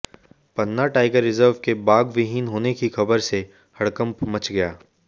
पन्ना tiger reserve के बाघविहीन होने की खबर से हड़कंप मच गया